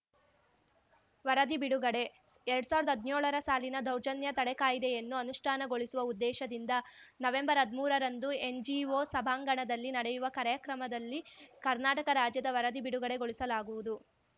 ವರದಿ ಬಿಡುಗಡೆ ಎರ್ಡ್ ಸಾವ್ರ್ದಾ ಹದ್ನ್ಯೋಳರ ಸಾಲಿನ ದೌರ್ಜನ್ಯ ತಡೆ ಕಾಯ್ದೆಯನ್ನು ಅನುಷ್ಠಾನಗೊಳಿಸುವ ಉದ್ದೇಶದಿಂದ ನವೆಂಬರ್ಹದ್ಮೂರ ರಂದು ಎನ್‌ಜಿಒ ಸಭಾಂಗಣದಲ್ಲಿ ನಡೆಯುವ ಕಾರ್ಯಕ್ರಮದಲ್ಲಿ ಕರ್ನಾಟಕ ರಾಜ್ಯದ ವರದಿ ಬಿಡುಗಡೆ ಗೊಳಿಸಲಾಗುವುದು